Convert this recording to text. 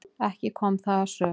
Ekki kom það að sök.